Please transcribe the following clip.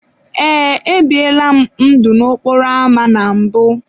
Ee, ebiela m ndụ n’okporo ámá na mbụ.